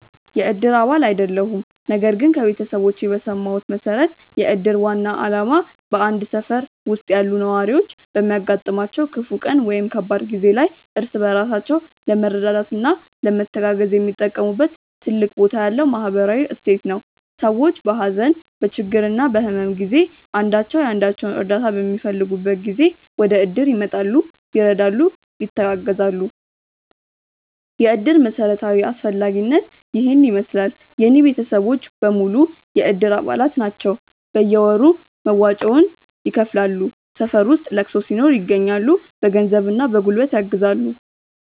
የእድር አባል አይደለሁም ነገር ግን ከቤተሰቦቼ በሰማሁት መሠረት የእድር ዋና ዓላማ በአንድ ሠፈር ውስጥ ያሉ ነዋሪዎች በሚያጋጥማቸው ክፉ ቀን ወይም ከባድ ጊዜ ላይ እርስ በራሳቸው ለመረዳዳትና ለመተጋገዝ የሚጠቀሙበት ትልቅ ቦታ ያለው ማኅበራዊ እሴት ነው። ሰዎች በሀዘን፣ በችግርና በሕመም ጊዜ አንዳቸው የአንዳቸውን እርዳታ በሚፈልጉበት ጊዜ ወደእድር ይመጣሉ፤ ይረዳሉ፣ ይተጋገዛሉ። የእድር መሠረታዊ አስፈላጊነት ይሔን ይመሥላል። የእኔ ቤተሰቦች በሙሉ የእድር አባላት ናቸው ናቸው። በየወሩ መዋጮውን ይከፍላሉ፣ ሠፈር ውስጥ ለቅሶ ሲኖር ይገኛሉ። በገንዘብና በጉልበት ያግዛሉ።